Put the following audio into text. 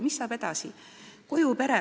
Mis saab edasi?